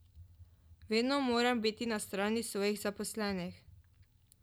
Vedno moram biti na strani svojih zaposlenih.